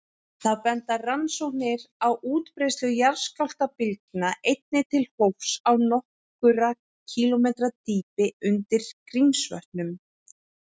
Þá benda rannsóknir á útbreiðslu jarðskjálftabylgna einnig til hólfs á nokkurra kílómetra dýpi undir Grímsvötnum.